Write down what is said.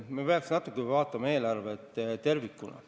Me peaks vaatama eelarvet tervikuna.